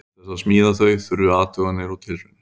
Til þess að smíða þau þurfti athuganir og tilraunir.